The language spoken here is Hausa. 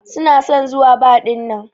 Suna son zuwa bar dinnan.